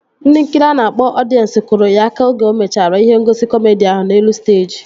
Ndị nkiri a na-akpọ ọdiens kụrụ ya aka oge o mechara ihe ngosi kọmedi ahụ n'elu steeji